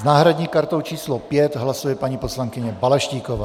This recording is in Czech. S náhradní kartou číslo 5 hlasuje paní poslankyně Balaštíková.